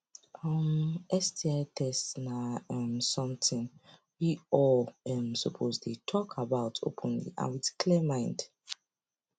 um sti test na um something we all um suppose dey talk about openly and with clear mind